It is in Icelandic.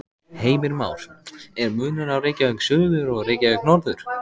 Heimir Már: Er munur á Reykjavík suður og Reykjavík norður?